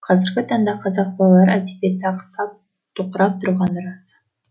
қазіргі таңда қазақ балалар әдебиеті ақсап тоқырап тұрғаны рас